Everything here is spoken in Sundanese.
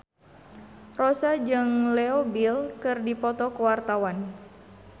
Rossa jeung Leo Bill keur dipoto ku wartawan